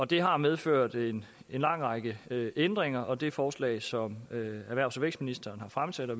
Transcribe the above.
det har medført en lang række ændringer og det forslag som erhvervs og vækstministeren har fremsat og